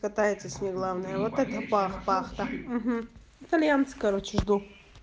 пытается с ней главное вот это пах пах тах ага итальянцы короче жду